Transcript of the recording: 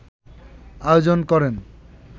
আয়োজন করেন